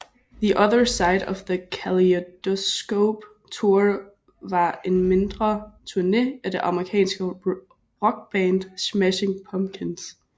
The Other Side of the Kaleidyscope Tour var en mindre turné af det amerikanske rockband Smashing Pumpkins